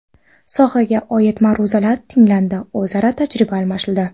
Sohaga oid ma’ruzalar tinglandi, o‘zaro tajriba almashildi.